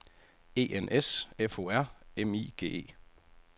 E N S F O R M I G E